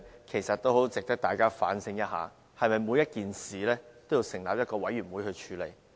其實大家應要思考是否每件事均須成立委員會來處理。